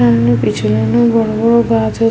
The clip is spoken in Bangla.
সামনে পেছনে বড় বড় গাছ রয়ে--